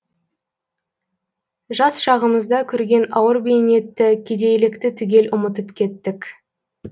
жас шағымызда көрген ауыр бейнетті кедейлікті түгел ұмытып кеттік